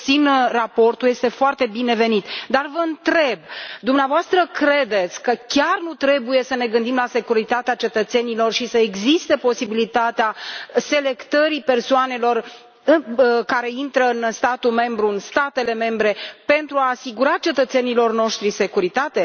Susțin raportul, este foarte binevenit, dar vă întreb dumneavoastră credeți că chiar nu trebuie să ne gândim la securitatea cetățenilor și să existe posibilitatea selectării persoanelor care intră în statul membru, în statele membre pentru a asigura cetățenilor noștri securitate?